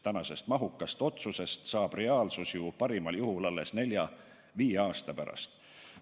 Tänasest mahukast otsusest saab reaalsus ju parimal juhul alles nelja-viie aasta pärast.